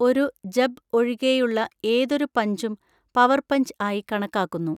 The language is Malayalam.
ഒരു ജബ് ഒഴികെയുള്ള ഏതൊരു പഞ്ചും പവർ പഞ്ച് ആയി കണക്കാക്കുന്നു.